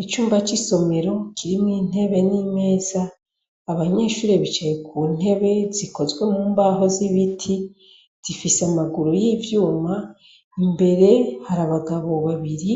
lcumba c' isomero kirimw' intebe n' imeza, abanyeshure bicaye ku ntebe zikozwe mu mbaho z' ibiti z'ifis' amaguru y' ivyuma, imbere har' abagabo babiri,